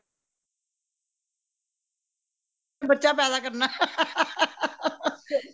ਬੱਚਾ ਪੈਦਾ ਕਰਨਾ